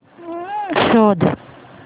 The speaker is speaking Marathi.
शोध